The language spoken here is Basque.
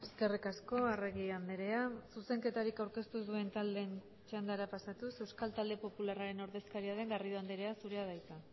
eskerrik asko arregi andrea zuzenketarik aurkeztu ez duen taldeen txandara pasatuz euskal talde popularraren ordezkaria den garrido andrea zurea da hitza